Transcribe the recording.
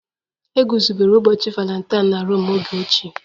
E guzobere ụbọchị Valentine na Rom oge ochie